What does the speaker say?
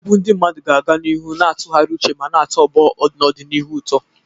Egwu ndị mmadụ ga-aga n'ihu na-atụgharị uche ma na-atọ ọgbọ n'ọdịnihu ụtọ.